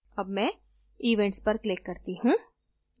अब मैं events पर click करती हूँ